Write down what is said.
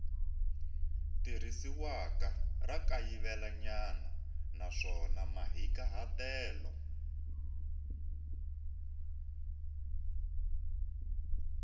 tirhisiwaka ra kayivelanyana naswona mahikahatelo